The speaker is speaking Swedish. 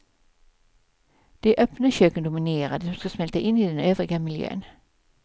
De öppna köken dominerar, de som ska smälta in i den övriga miljön.